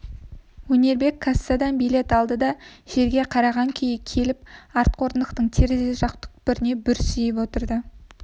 өнербек кассадан билет алды да жерге қараған күйі келіп артқы орындықтың терезе жақ түкпіріне бүрсиіп отырды